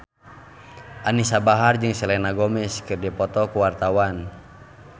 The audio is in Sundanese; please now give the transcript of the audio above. Anisa Bahar jeung Selena Gomez keur dipoto ku wartawan